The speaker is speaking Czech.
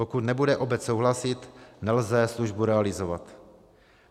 Pokud nebude obec souhlasit, nelze službu realizovat.